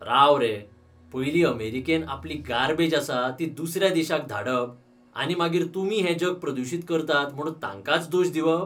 राव रे, पयलीं अमेरिकेन आपली गार्बेज आसा ती दुसऱ्या देशांक धाडप, आनी मागीर तुमी हे जग प्रदूशीत करतात म्हूण तांकांच दोश दिवप?